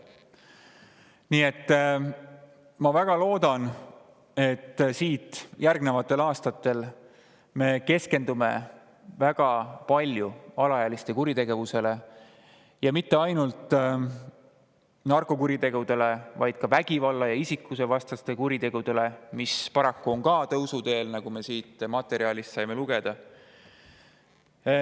Nii et ma väga loodan, et järgnevatel aastatel me keskendume väga palju alaealiste kuritegevusele, ja mitte ainult narkokuritegudele, vaid ka vägivalla- ja isikuvastastele kuritegudele, mis paraku on tõusuteel, nagu me siit materjalist lugesime.